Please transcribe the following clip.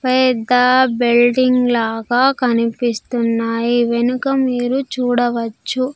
పెద్ద బిల్డింగ్ లాగా కనిపిస్తున్నాయి వెనుక మీరు చూడవచ్చు.